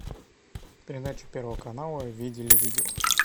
передача первого канала видели видео